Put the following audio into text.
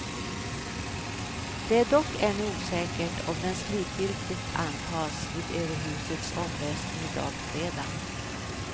Det är dock ännu osäkert om den slutgiltigt antas vid överhusets omröstning i dag fredag.